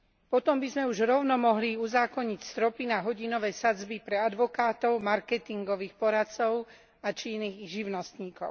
Potom by sme už rovno mohli uzákoniť stropy na hodinové sadzby pre advokátov, marketingových poradcov či iných živnostníkov.